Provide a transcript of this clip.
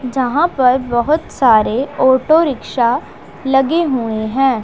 यहां पर बहुत सारे ऑटो रिक्शा लगे हुए हैं।